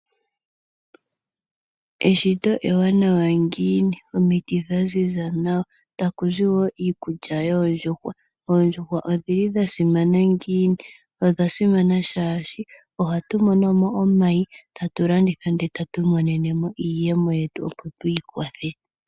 Eshito ewanawa ngiini omiti dha ziza nawa, taku zi wo iikulya yoondjuhwa. Ondjuhwa odhili dha simana ngiini, odha simana shaashi ohatu monomo omayi, tatu landitha nde tatu imonenemo iiyemo yetu opo twiikwathe.